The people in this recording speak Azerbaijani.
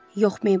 Yox, Meybl.